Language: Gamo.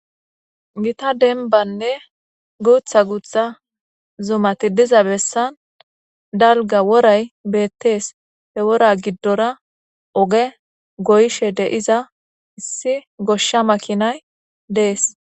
gita denbanne guutha guutha zumati diza bessan dalga woray beettees he wora giddora oge goyshe deiza issi goshsha makinay dees